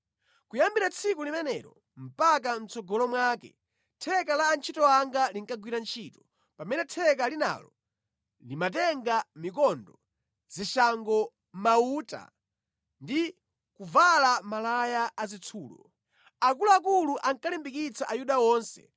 Kuyambira tsiku limenelo mpaka mʼtsogolo mwake, theka la antchito anga linkagwira ntchito, pamene theka linalo limatenga mikondo, zishango, mauta ndi kuvala malaya azitsulo. Akuluakulu ankalimbikitsa Ayuda onse